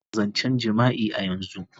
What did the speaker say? Dakatar da zancen jima'i a yanzu.